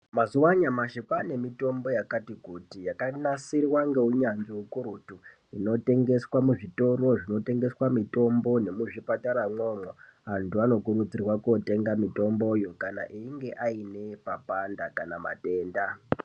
Mazuva anyamashi kwane mitombo yakati kuti yakanasirwa ngeunyatsvi ukurutu inotengeswe muzvitoro zvinotengeswa mitombo nemuzvipatara mwona imwomwo antu anokurudzirwa kunotenga mitomboyo kana einge ane papanda kana matenda.